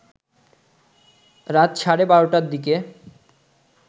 রাত সাড়ে ১২টার দিকে